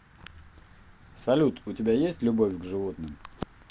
салют у тебя есть любовь к животным